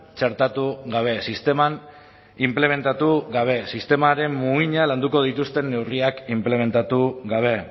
txertatu gabe sisteman inplementatu gabe sistemaren muina landuko dituzten neurriak inplementatu gabe